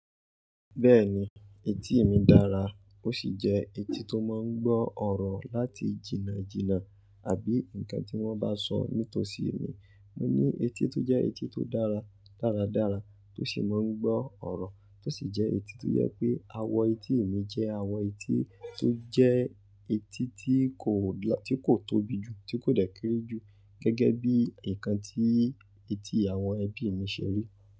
Bẹ́ẹ̀ni, etí e mi dára ó sì jẹ́ etí tó máa ń gbọ́ ọ̀rọ̀ láti jìnnà jìnnà àbí nǹkan tí wọ́n bá sọ nítòsí mi. Mo ní etí tó jẹ́ etí tó dára dáradára tó sì máa ń gbọ́ ọ̀rọ̀ tó sì jẹ́ etí tó jẹ pé àwọ̀ etí mi jẹ́ àwọ̀ etí tó jẹ́ etí tí ko lo ti kò tóbi jù, tí kò dẹ́ kere ju gẹ́gẹ́ bí nǹkan tí etí àwọn ẹbí mi ṣe rí.